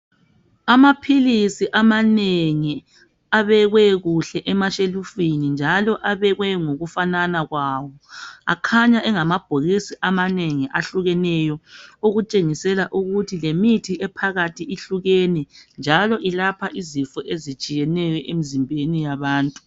Amaphilisi amanengi abekwe kuhle emashelufini njalo abekwe ngokufanana kwawo akhanya engamabhokisi amanengi ehlukeneyo okutshengisela ukuthi lemithi ephakathi ihlukene njalo ilapha izifo ezitshiyeneyo emzimbeni yabantu.